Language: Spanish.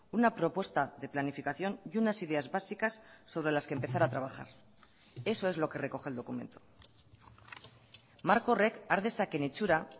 una propuesta de planificación y unas ideas básicas sobre las que empezar a trabajar eso es lo que recoge el documento marko horrek har dezakeen itxura